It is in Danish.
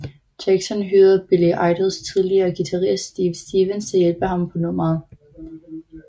Jackson hyrede Billy Idols tidligere guitarist Steve Stevens til at hjælpe ham på nummeret